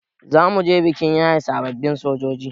Zamuje bikin yaye sababbin sojoji